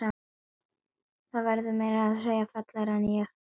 Þú verður meira að segja fallegri en ég.